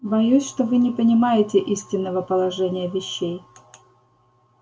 боюсь что вы не понимаете истинного положения вещей